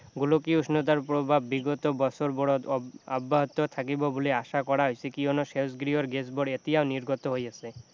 গোলকীয় উষ্ণতাৰ প্ৰভাৱ বিগত বছৰবোৰত অব্যাহত থাকিব বুলি আশা কৰা হৈছে কিয়নো সেউজগৃহৰ গেছবোৰ এতিয়াও নিৰ্গত হৈ আছে